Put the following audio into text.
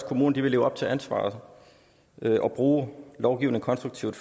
kommunerne leve op til ansvaret og bruge lovgivningen konstruktivt